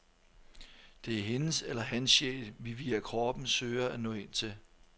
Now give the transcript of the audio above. Det er hendes eller hans sjæl, vi via kroppen søger at nå ind til.